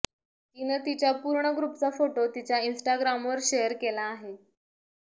तिनं तिच्या पूर्ण ग्रुपचा फोटो तिच्या इन्स्टाग्रामवर शेअर केला आहे